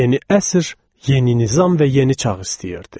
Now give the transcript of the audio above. Yeni əsr yeni nizam və yeni çağ istəyirdi.